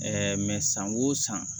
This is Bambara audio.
san o san